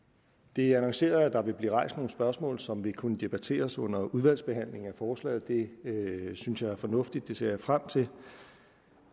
det er annonceret at der vil blive rejst nogle spørgsmål som vil kunne debatteres under udvalgsbehandlingen af forslaget det synes jeg er fornuftigt det ser jeg frem til